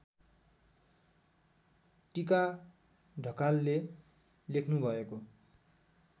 टीका ढकालले लेख्नुभएको